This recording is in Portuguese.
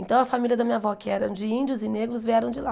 Então, a família da minha avó, que era de índios e negros, vieram de lá.